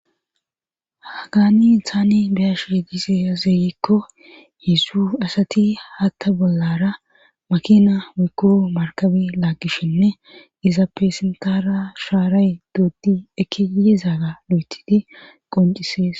Hagaani insani beyash yegise zeeyekko hesu asati hatta bollara makina mukko markabi laagishshinne izappeesentara shaaray doodi ekiyezaaga lo7etidi qoncisees.